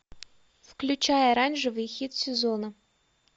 включай оранжевый хит сезона